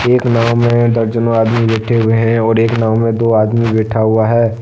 एक नाव मे दर्जनों आदमी बैठे हुए है और एक नाव मे दो आदमी बैठा हुआ है।